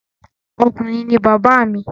Ọkùnrin ni bàbá mi